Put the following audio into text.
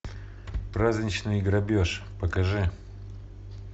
праздничный грабеж покажи